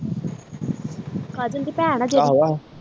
ਕਾਜਲ ਦੀ ਭੈਣ ਆ ਜਿਹੜੀ ਆਹੋ ਆਹੋ